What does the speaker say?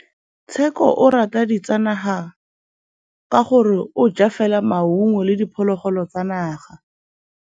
Tshekô o rata ditsanaga ka gore o ja fela maungo le diphologolo tsa naga.